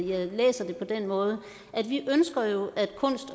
jeg læser det på den måde